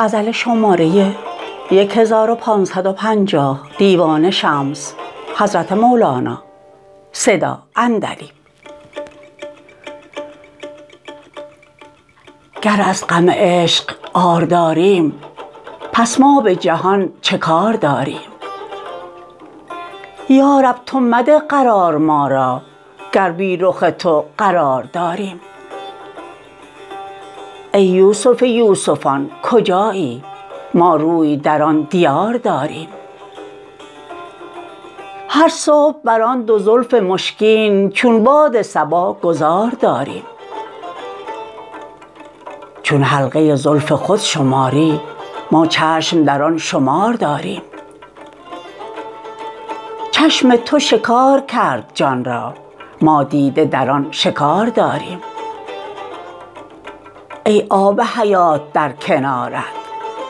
گر از غم عشق عار داریم پس ما به جهان چه کار داریم یا رب تو مده قرار ما را گر بی رخ تو قرار داریم ای یوسف یوسفان کجایی ما روی در آن دیار داریم هر صبح بر آن دو زلف مشکین چون باد صبا گذار داریم چون حلقه زلف خود شماری ما چشم در آن شمار داریم چشم تو شکار کرد جان را ما دیده در آن شکار داریم ای آب حیات در کنارت